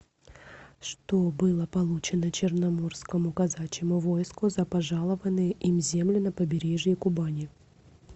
что было получено черноморскому казачьему войску за пожалованные им земли на побережье кубани